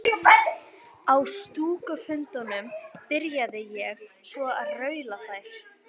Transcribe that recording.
Á stúkufundunum byrjaði ég svo að raula þær.